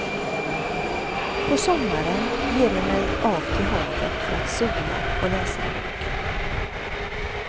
På sommaren ger jag mig av till havet för att sola och läsa en bok.